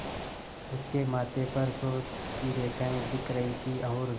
उसके माथे पर सोच की रेखाएँ दिख रही थीं और